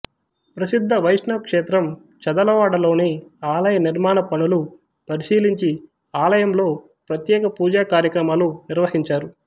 ప్రసిద్ధ వైష్ణవ క్షేత్రం చదలవాడలోని ఆలయ నిర్మాణ పనులు పరిశీలించి ఆలయంలో ప్రత్యేక పూజా కార్యక్రమాలు నిర్వహించారు